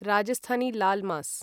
Rajasthani laal मास्